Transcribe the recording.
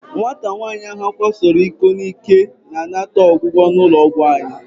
Nwata nwaanyị ahụ a kwasoro iko n'ike na-anata ọgwụgwọ n'ụlọ ọgwụ anyị.